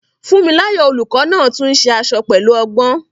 Funmilayo, the teacher, also makes dresses skillfully.